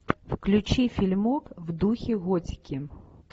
включи фильмок в духе готики